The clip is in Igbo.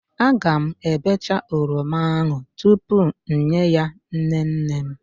Aga m ebecha oroma ahụ tupu m nye ya nnenne m.